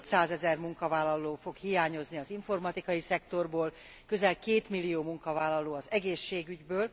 700 ezer munkavállaló fog hiányozni az informatikai szektorból, közel 2 millió munkavállaló az egészségügyből.